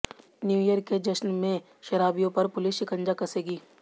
new year के जश्र में शराबियों पर पुलिस शिकंजा कसेगी